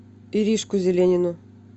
иришку зеленину